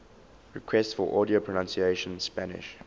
requests for audio pronunciation spanish